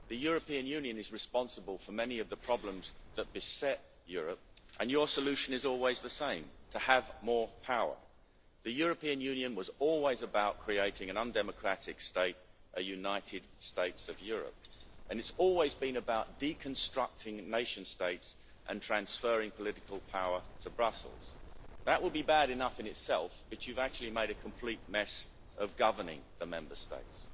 The European Union is responsible for many of the problems that beset Europe, and your solution is always the same to have more power. The European Union was always about creating an undemocratic state a united states of Europe' and it has always been about deconstructing nation states and transferring political power to Brussels. That would be bad enough in itself, but you have actually made a complete mess of governing the Member States.